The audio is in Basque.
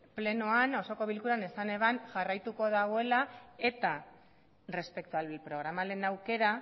plenoan osoko bilkuran esan zuen jarraituko duela eta respecto al programa lehen aukera